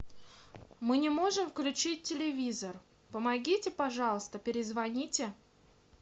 мы не можем включить телевизор помогите пожалуйста перезвоните